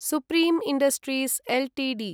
supreme industries Ltd